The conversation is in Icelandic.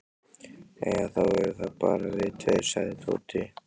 Jæja, þá eru það bara við tveir sagði Tóti.